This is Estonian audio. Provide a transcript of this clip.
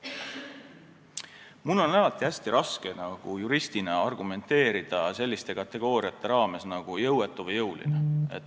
Mul on alati hästi raske juristina argumenteerida selliste kategooriate raames nagu jõuetu või jõuline.